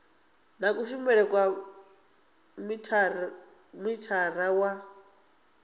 na kushumele kwa mithara wa